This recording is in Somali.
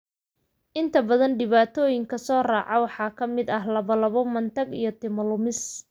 Inta badan dhibaatooyinka soo raaca waxaa ka mid ah lallabbo, matag, iyo timo lumis.